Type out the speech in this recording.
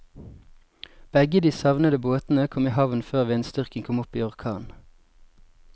Begge de savnede båtene kom i havn før vindstyrken kom opp i orkan.